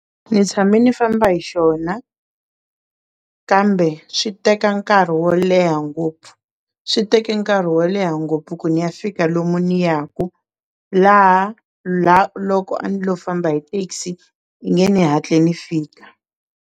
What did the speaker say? Ni tshame ni famba hi xona kambe swi teka nkarhi wo leha ngopfu swi teke nkarhi wo leha ngopfu ku ni ya fika lomu ni ya ku laha la loko a ni lowu famba hi taxi i nge ni hatle ni fika.